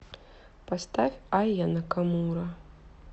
поставь айа накамура